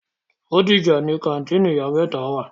Bódìjà ni kàńtìnì ìyá mẹ́ta wà.